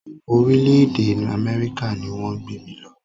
Orílẹ̀-èdè Amẹ́ríkà ni wọ́n gbé mí lọ.